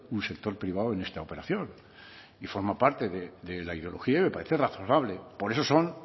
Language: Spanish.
un sector privado en esta operación y forma parte de la ideología y me parece razonable por eso son